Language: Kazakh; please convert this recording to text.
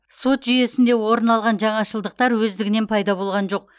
сот жүйесінде орын алған жаңашылдықтар өздігінен пайда болған жоқ